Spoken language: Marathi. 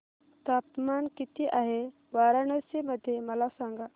तापमान किती आहे वाराणसी मध्ये मला सांगा